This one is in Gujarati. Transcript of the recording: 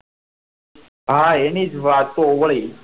હા એની વાતો હોય